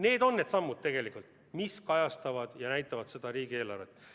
Need on need sammud, mis kajastavad ja näitavad seda, milline on see riigieelarve.